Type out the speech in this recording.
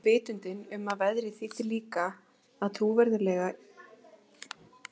Einnig vitundin um að veðrið þýddi líka að trúlega yrði ekkert af hátíðahöldum um kvöldið.